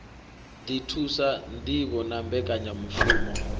ḓi thusa ṋdivho na mbekanyamushumo